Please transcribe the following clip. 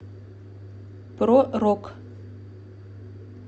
про рок